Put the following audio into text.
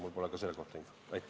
Mul pole selle kohta infot.